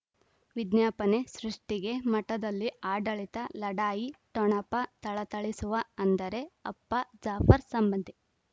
ವಿಜ್ಞಾಪನೆ ಸೃಷ್ಟಿಗೆ ಮಠದಲ್ಲಿ ಆಡಳಿತ ಲಢಾಯಿ ಠೊಣಪ ಥಳಥಳಿಸುವ ಅಂದರೆ ಅಪ್ಪ ಜಾಫರ್ ಸಂಬಂಧಿ